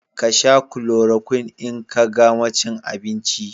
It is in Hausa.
Ka Sha " chloroquine " in ka gama cin abinci